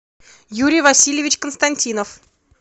юрий васильевич константинов